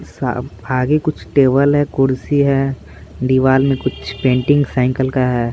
सब आगे कुछ टेबल है कुर्सी है दीवार में कुछ पेंटिंग का है।